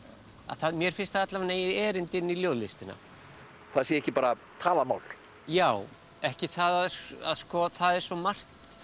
mér finnst það alla vega eiga erindi inn í ljóðlistina það sé ekki bara talað mál já ekki það að sko það er svo margt